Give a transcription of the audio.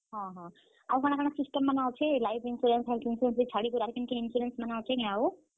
ହଁ ହଁ, ଆଉ କାଣା କାଣା insurance ମାନେ ଅଛେ life insurance କେ ଛାଡିକରି ଆଉ କେନ କେନ insurance ମାନେ ଅଛେ କେଁ ଆଉ?